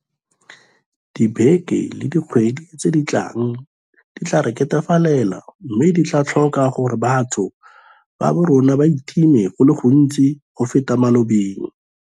Dibeke le dikgwedi tse di tlang di tla re ketefalela mme di tla tlhoka gore batho ba borona ba itime go le gontsi go feta mo malobeng.